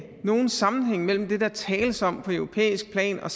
nogen sammenhæng mellem det der tales om på europæisk plan og